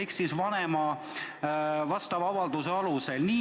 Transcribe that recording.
Seda saab teha vastava avalduse alusel.